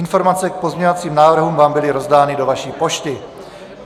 Informace k pozměňovacím návrhům vám byly rozdány do vaší pošty.